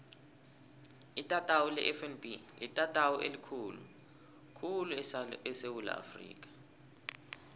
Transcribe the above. itatawu lefnb litatawu elikhulu khulu esewula afrika